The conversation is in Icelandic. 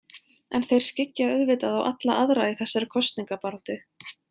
En þeir skyggja auðvitað á alla aðra í þessari kosningabaráttu.